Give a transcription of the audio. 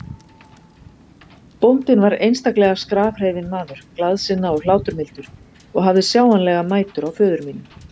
Bóndinn var einstaklega skrafhreifinn maður, glaðsinna og hláturmildur, og hafði sjáanlega mætur á föður mínum.